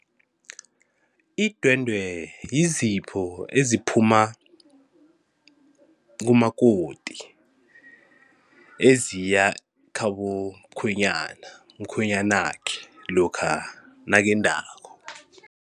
Idwendwe yizipho eziphuma kumakoti eziya khabo mkhwenyana, mkhwenyanakhe lokha nakendako.